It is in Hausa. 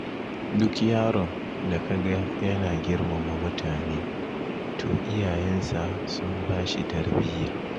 Duk yaron da kaga yana girmama mutane, to iyayensa sun bashi tarbiyya.